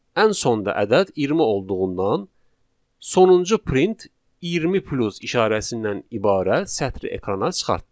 Ən sonda ədəd 20 olduğundan sonuncu print 20 plus işarəsindən ibarət sətri ekrana çıxartdı.